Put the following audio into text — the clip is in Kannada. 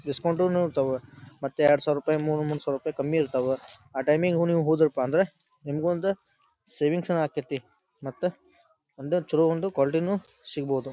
ಡಿಸ್ಕೌಂಟುನು ಇರತಾವ ಮತ್ತ ಎರ್ಡ್ಸಾವರ ಮೂರು ಮೂರ್ಸಾವಿರ ರುಪಾಯಿ ಕಮ್ಮಿ ಇರ್ತಾವ ಆ ಟೈಮ್ಗೆ ನೀವು ಹೋದ್ರಪಾಂದ್ರ ನಿಮ್ಗೂ ಒಂದ ಸೇವಿಂಗ್ಸುನು ಅಕ್ಕೈತಿ ಮತ್ತ ಒಂದ ಛಲೋ ಒಂದು ಕ್ವಾಲಿಟಿನು ಸಿಗ್ಬೋದು.